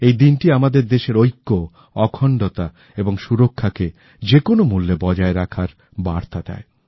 এই দিনটি আমাদের দেশের ঐক্য অখণ্ডতা এবং সুরক্ষা কে যেকোন মুল্যে বজায় রাখার বার্তা দেয়